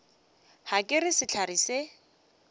ga ke re sehlare se